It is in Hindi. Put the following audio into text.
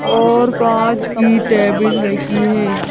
और कांच की टेबल रखी है।